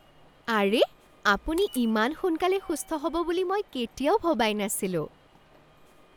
আৰে! আপুনি ইমান সোনকালে সুস্থ হ'ব বুলি মই কেতিয়াও ভবাই নাছিলোঁ।